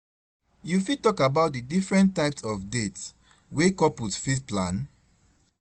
You fit talk about di different types of dates wey couples fit plan?